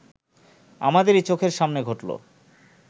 আমাদেরই চোখের সামনে ঘটল